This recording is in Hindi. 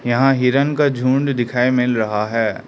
यहां हिरण का झुंड दिखाएं मिल रहा है।